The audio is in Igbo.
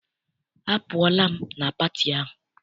Apụọla m na pati ahụ.